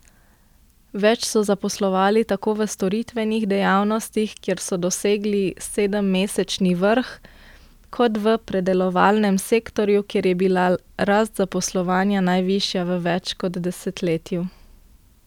Več so zaposlovali tako v storitvenih dejavnostih, kjer so dosegli sedemmesečni vrh, kot v predelovalnem sektorju, kjer je bila rast zaposlovanja najvišja v več kot desetletju.